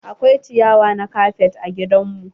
Akwai ciyawa na kafet a gidan mu.